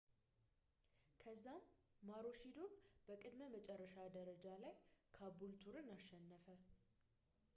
ከዛም ማሮሺዶር በቅድመ-መጨረሻ ደረጃ ላይ ካቡልቱርን አሸነፈ